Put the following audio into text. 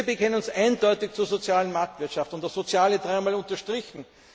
Wir bekennen uns eindeutig zur sozialen Marktwirtschaft, und sozial ist dreimal unterstrichen.